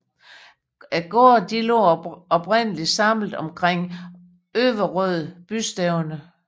Gårdene lå oprindeligt samlet omkring Øverød bystævne